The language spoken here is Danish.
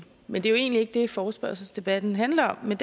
men det er jo egentlig ikke det forespørgselsdebatten handler om men